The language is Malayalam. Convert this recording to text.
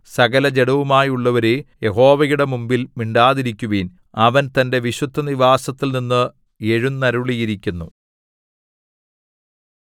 സകലജഡവുമായുള്ളോരേ യഹോവയുടെ മുമ്പിൽ മിണ്ടാതിരിക്കുവിൻ അവൻ തന്റെ വിശുദ്ധനിവാസത്തിൽനിന്ന് എഴുന്നരുളിയിരിക്കുന്നു